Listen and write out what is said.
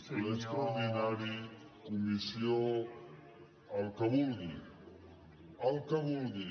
ple extraordinari comissió el que vulgui el que vulgui